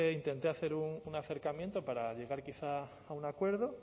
intenté hacer un acercamiento para llegar quizá a un acuerdo